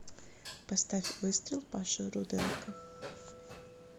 поставь выстрел паши руденко